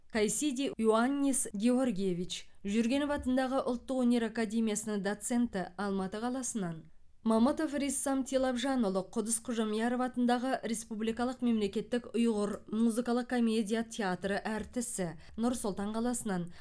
кайсиди иоаннис георгиевич жүргенов атындағы ұлттық өнер академиясының доценті алматы қаласынан мамытов риссам тилапжанұлы құдыс қожамияров атындағы республикалық мемлекеттік ұйғыр музыкалық комедия театры әртісі нұр сұлтан қаласынан